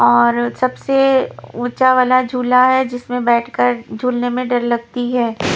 और सबसे ऊंचा वाला झूला है जिसमें बैठकर झूलने में डर लगती है।